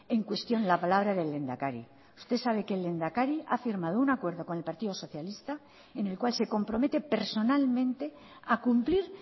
en cuestión la palabra del lehendakari usted sabe que el lehendakari ha firmado un acuerdo con el partido socialista en el cual se compromete personalmente a cumplir